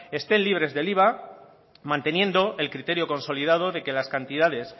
estén libres del iva manteniendo el criterio consolidado de que las cantidades